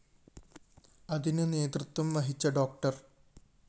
അതിനു നേതൃത്വം വഹിച്ച ഡോ